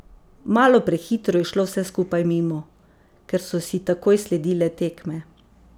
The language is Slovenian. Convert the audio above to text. Malo prehitro je šlo vse skupaj mimo, ker so si takoj sledile tekme.